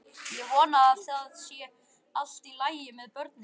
Ég vona að það sé allt í lagi með börnin.